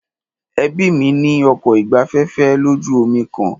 Ẹbí mí ní ọkọ̀ ìgbafẹ́fẹ́ lójú omi kan.